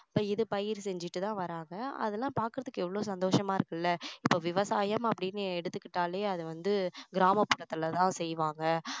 இப்போ இது பயிர் செஞ்சிட்டு தான் வர்றாங்க அதெல்லாம் பார்க்கிறதுக்கு எவ்வளோ சந்தோஷமா இருக்குல்ல இப்போ விவசாயம் அப்படின்னு எடுத்துக்கிட்டாலே அது வந்து கிராமபுறத்துல தான் செய்வாங்க